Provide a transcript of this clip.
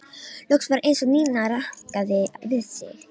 Loks var eins og Nína rankaði við sér.